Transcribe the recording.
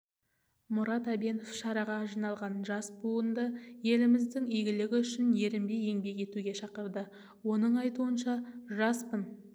мұрат әбенов шараға жиналған жас буынды еліміздің игілігі үшін ерінбей еңбек етуге шақырды оның айтуынша жаспын